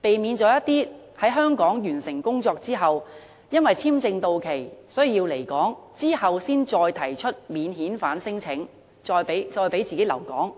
避免一些來港工作人士，在簽證到期時才提出免遣返聲請，以求可以繼續留在香港。